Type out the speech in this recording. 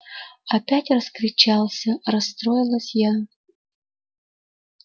опять раскричался расстроилась я